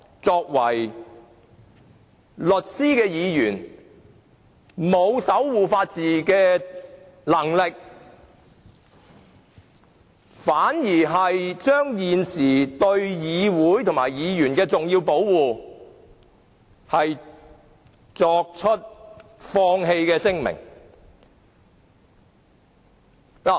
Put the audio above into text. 身為律師的議員，既未能守護法治，更明言放棄對議會及議員的重要保護。